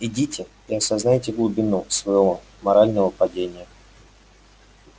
идите и осознайте глубину своего морального падения